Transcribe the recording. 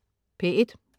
P1: